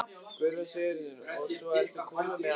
Guðrún Sigurðardóttir: Og svo ertu kominn með áburð?